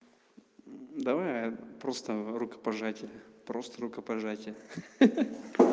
давай просто рукопожатие просто рукопожатие ха-ха